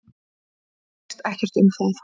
Það snýst ekkert um það.